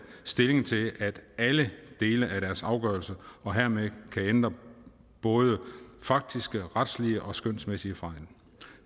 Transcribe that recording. stilling til alle dele af deres afgørelse og hermed kan ændre både faktiske retslige og skønsmæssige fejl